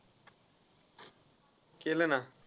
केल ना.